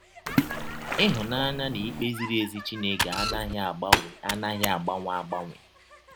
Ịhụnanya na ikpe ziri ezi Chineke anaghị agbanwe anaghị agbanwe agbanwe